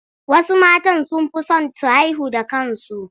Wasu matan sun fi son su haihu da kansu.